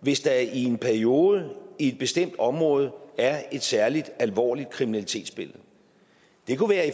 hvis der i en periode i et bestemt område er et særlig alvorligt kriminalitetsbillede det kunne være i